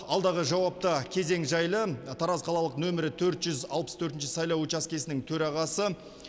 алдағы жауапты кезең жайлы тараз қалалық нөмірі төрт жүз алпыс төртінші сайлау учаскесінің төрағасы